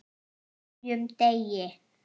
HVERJUM DEGI!